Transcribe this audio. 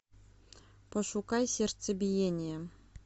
пошукай сердцебиение